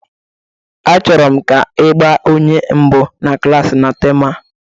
Achọrọ m ka ị gba onye mbụ na klasị na temụ a